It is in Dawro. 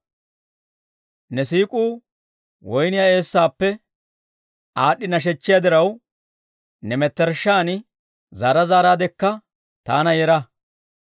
«Ne siik'uu woyniyaa eessaappe aad'd'i nashechchiyaa diraw, ne mettershshan zaara zaaraadekka taana yera.